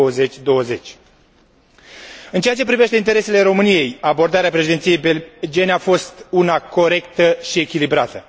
2020. În ceea ce privește interesele României, abordarea Președinției belgiene a fost una corectă și echilibrată.